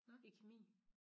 I kemi